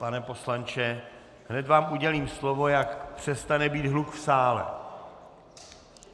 Pane poslanče, hned vám udělím slovo, jak přestane být hluk v sále.